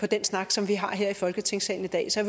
den snak som vi har her i folketingssalen i dag så